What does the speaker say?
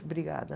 Obrigada.